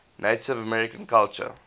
native american culture